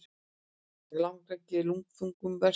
Langrækni er lundþungum verst.